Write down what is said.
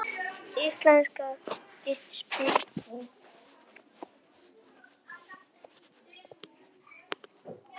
Íslensk getspá.